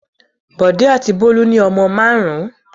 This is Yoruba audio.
Bọ̀dé àti Bólú ní ọmọ márùn-ún.